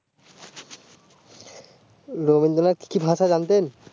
রবীন্দ্রনাথ কি ভাষা জানতেন